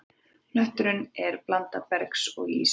Hnötturinn er blanda bergs og íss.